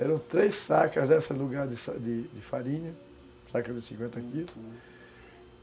Eram três sacas lugar de farinha, sacas de cinquenta quilos, uhum.